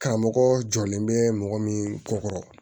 Karamɔgɔ jɔlen bɛ mɔgɔ min kɔ kɔrɔ